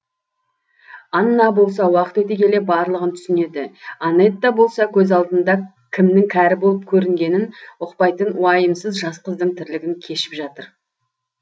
анна болса уақыт өте келе барлығын түсінеді анетта болса көз алдында кімнің кәрі болып көрінгенін ұқпайтын уайымсыз жас қыздың тірлігін кешіп жатыр